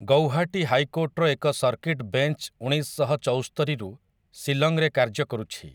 ଗୋୖହାଟୀ ହାଇକୋର୍ଟର ଏକ circuit bench ଉଣେଇଶଶହ ଚଉସ୍ତରିରୁ ଶିଲଂରେ କାର୍ଯ୍ୟ କରୁଛି ।